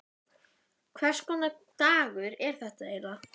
Hvers konar dagur er þetta eiginlega?